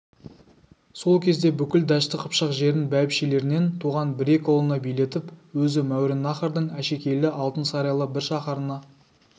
сол кезде бүкіл дәшті қыпшақ жерін бәйбішелерінен туған бір-екі ұлына билетіп өзі мауреннахрдың әшекейлі алтын сарайлы бір шаһарына